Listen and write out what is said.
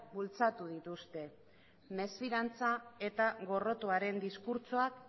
bultzatu dituzte mesfidantza eta gorrotoaren diskurtsoak